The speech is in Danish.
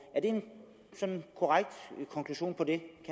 er det sådan en korrekt konklusion på det